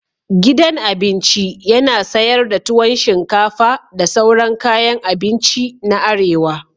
Gidan cin abinci yana sayar da tuwon shinfaka da sauran kayan abinci na arewa.